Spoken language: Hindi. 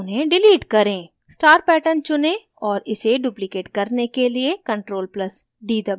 star pattern चुनें और इसे duplicate करने के लिये ctrl + d दबाएं